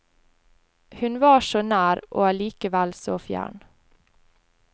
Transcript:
Hun var så nær, og alikevel så fjern.